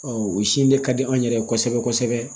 o sin de ka di anw yɛrɛ ye kosɛbɛ kosɛbɛ